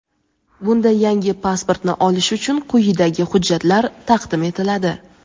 Bunda yangi pasportni olish uchun quyidagi hujjatlar taqdim etiladi:.